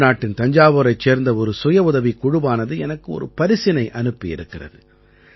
தமிழ்நாட்டின் தஞ்சாவூரைச் சேர்ந்த ஒரு சுயஉதவிக் குழுவானது எனக்கு ஒரு பரிசினை அனுப்பி இருக்கிறது